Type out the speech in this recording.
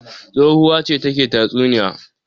Tsohuwa ce take tatsuniya.